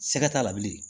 Sɛgɛ t'a la bilen